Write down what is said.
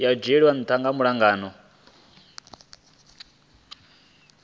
ya dzhielwa ntha malugana na